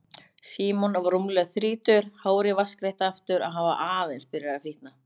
Símon var rúmlega þrítugur, hárið vatnsgreitt aftur og hann var aðeins byrjaður að fitna.